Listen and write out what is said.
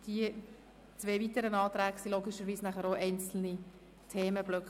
Die beiden weiteren Anträge bilden logischerweise einzelne Themenblöcke.